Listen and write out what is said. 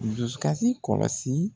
Dusukasi kɔlɔsi